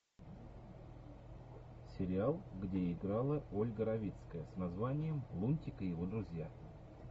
сериал где играла ольга равицкая с названием лунтик и его друзья